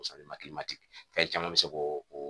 fɛn caman bɛ se k'o o